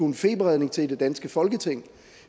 en feberredning til i det danske folketing